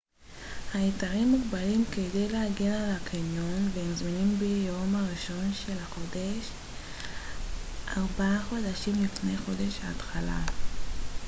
ההיתרים מוגבלים כדי להגן על הקניון והם זמינים ביום הראשון של החודש ארבעה חודשים לפני חודש ההתחלה